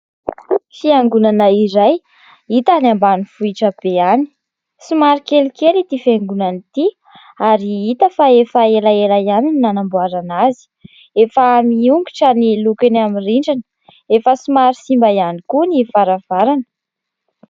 Fiangonana iray hita any ambanivohitra be any somary kely kely ity fiangonana ity ary hita fa efa ela ela ihany ny nanamboarana azy. Efa miongotra ny lokony amin'ny rindrina. Efa somary simba ihany koa ny varavarana.